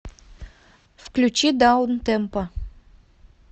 включи даунтемпо